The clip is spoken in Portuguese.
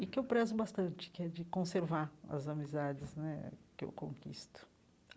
E que eu prezo bastante, que é de conservar as amizades né que eu conquisto.